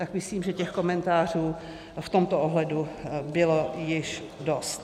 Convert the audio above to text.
Tak myslím, že těch komentářů v tomto ohledu bylo již dost.